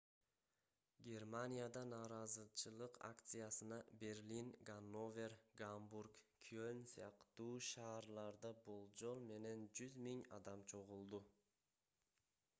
германияда нааразычылык акциясына берлин ганновер гамбург кёльн сыяктуу шаарларда болжол менен 100 000 адам чогулду